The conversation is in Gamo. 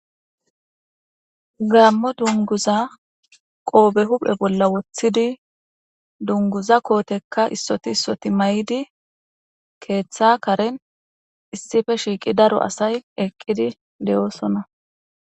gaammo dunguza qoobe huphe bolla woththidi dunguza kootekka issoti issoti may7di keeththa karen issife shiiqi daro asay eqqidi de7oosona